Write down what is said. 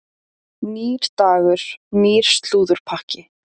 Nýr dagur, nýr slúðurpakki.